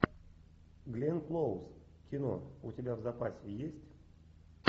гленн клоуз кино у тебя в запасе есть